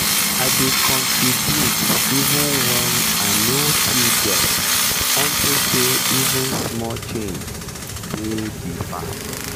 i dey contribute even wen i no too get unto say even small change dey help di farm.